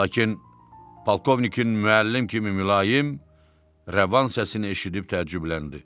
Lakin polkovnikin müəllim kimi mülayim, rəvan səsini eşidib təəccübləndi.